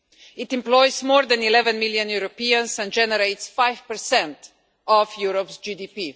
It employs more than 11 million Europeans and generates five percent of Europe's GDP.